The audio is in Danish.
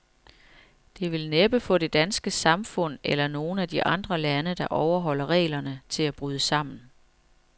Det vil næppe få det danske samfund, eller nogen af de andre lande, der overholder reglerne, til at bryde sammen.